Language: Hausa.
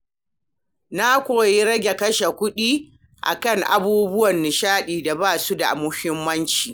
Na koyi rage kashe kuɗi a kan abubuwan nishaɗi da ba su da muhimmanci.